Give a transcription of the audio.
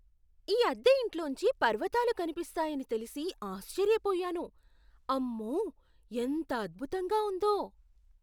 ఈ అద్దె ఇంట్లోంచి పర్వతాలు కనిపిస్తాయని తెలిసి ఆశ్చర్యపోయాను. అమ్మో! ఎంత అద్భుతంగా ఉందో.